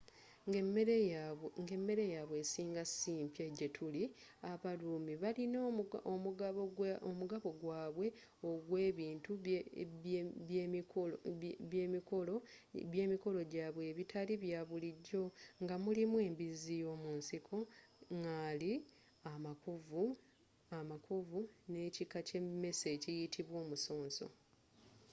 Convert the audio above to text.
nga emmere yabwe esinga simpya gyetuli abaruumi balina omugabo gwaabwe ogwebintu byemikolo gyaabwe ebitali bya bulijjo nga mulimu embizi y'omunsiko ngaali amakovu n'ekika ky'emesse ekiyitibwa omusonso